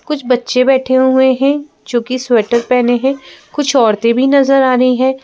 कुछ बच्चे बैठे हुए हैंजो कि स्वेटर पहने हैं कुछ औरतें भी नजर आ रही हैं।